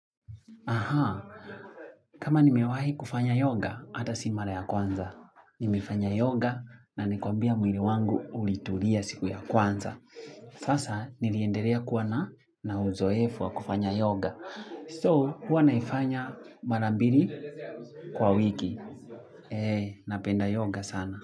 Aha, kama nimewahi kufanya yoga, hata si mara ya kwanza. Nimefanya yoga na ni kwambia mwili wangu ulitulia siku ya kwanza. Sasa, niliendelea kuwa na na uzoefu wa kufanya yoga. So, huwa naifanya mara mbili kwa wiki. Eeh, napenda yoga sana.